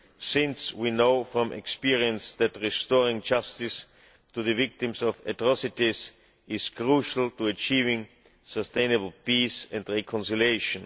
since we know from experience that restoring justice to the victims of atrocities is crucial to achieving sustainable peace and reconciliation.